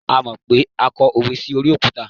a mọ pé a kọ òwe sí orí òkúta